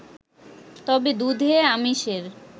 তবে দুধে আমিষের